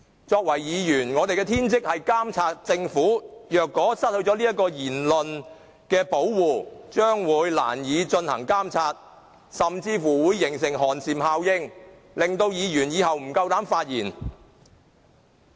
作為議員，我們的天職是監察政府，如果失去了言論的保護，將會難以監察政府，甚至會造成寒蟬效應，令到議員不敢發言。